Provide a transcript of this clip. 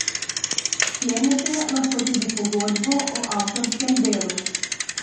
Sklenete lahko tudi pogodbo o avtorskem delu.